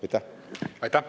Aitäh!